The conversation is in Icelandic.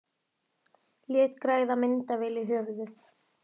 Lét græða myndavél í höfuðið